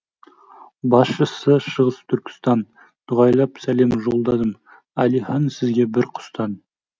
басшысы шығыс түркістан дұғайлап сәлем жолдадым әлихан сізге бір құстан